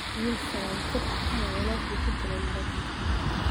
Wiil sagaal jir ah ayaa walaalkii ku dilay dalka Mareykanka